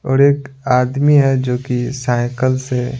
और एक आदमी है जो कि साइकल से --